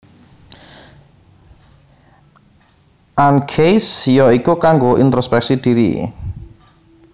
Ancase ya iku kanggo introspeksi diri